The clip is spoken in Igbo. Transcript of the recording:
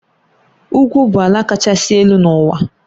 Ugwu bụ ala kachasị elu n'ụwa.